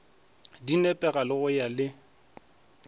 di nepagale go ya le